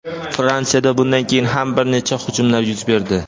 Fransiyada bundan keyin ham bir necha hujumlar yuz berdi.